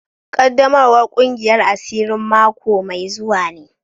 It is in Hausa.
Qaddamawar kungiyar asirin mako mai zuwa ne.